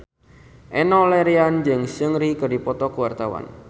Enno Lerian jeung Seungri keur dipoto ku wartawan